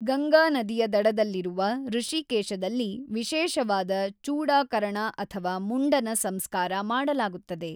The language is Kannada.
ಗಂಗಾನದಿಯ ದಡದಲ್ಲಿರುವ ಋಷಿಕೇಶದಲ್ಲಿ ವಿಶೇಷವಾದ ಚೂಡಾಕರಣ ಅಥವಾ ಮುಂಡನ ಸಂಸ್ಕಾರ ಮಾಡಲಾಗುತ್ತದೆ.